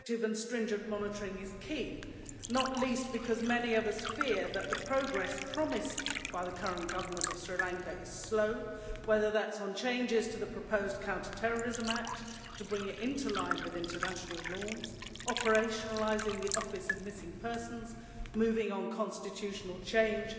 Effective and stringent monitoring is key, not least because many of us fear that the progress promised by the current Government of Sri Lanka is slow, whether that is on changes to the proposed counterterrorism act to bring it into line with international norms, operationalising the office of missing persons, moving on constitutional change